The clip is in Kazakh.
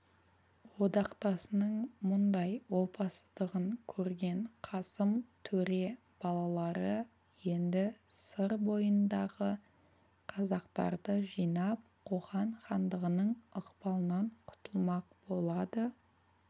одақтасының мұндай опасыздығын көрген қасым төре балалары енді сыр бойындағы қазақтарды жинап қоқан хандығының ықпалынан құтылмақ болады